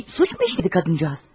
Bir suçmu işlədi qadıncığaz?